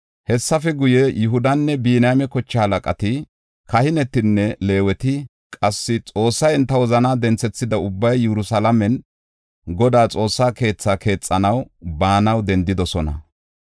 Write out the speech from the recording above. Hessafe guye, Yihudanne Biniyaame koche halaqati, kahinetinne Leeweti, qassi Xoossay enta wozanaa denthethida ubbay Yerusalaamen Godaa Xoossaa keethaa keexanaw baanaw dendidosona.